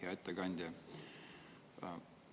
Hea ettekandja!